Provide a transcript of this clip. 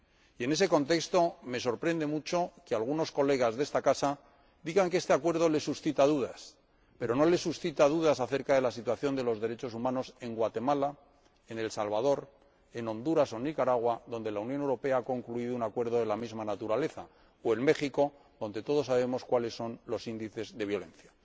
Y, en ese contexto, me sorprende mucho que algunos colegas de esta Casa digan que este Acuerdo les suscita dudas, pero no les suscita dudas la situación de los derechos humanos en Guatemala, en El Salvador, en Honduras o en Nicaragua, con que la Unión Europea ha concluido un acuerdo de la misma naturaleza, o en México, donde todos sabemos cuáles son los índices de violencia.